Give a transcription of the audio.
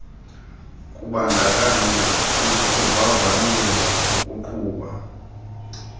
kubandakanya ukuvavanyelwa ukuqhuba